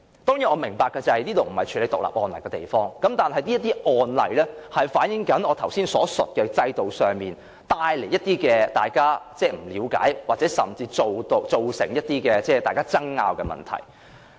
當然，我明白這裏不是處理獨立案例的地方，但這些案例反映了我剛才所述的情況，即因為在制度上，令大家不了解，甚至造成爭拗的問題。